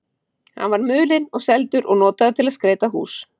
Hann var mulinn og seldur og notaður til að skreyta hús.